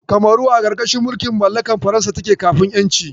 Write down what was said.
Kamaru a ƙarƙashin mulkin mallakar Faransa take kafin ƴanci.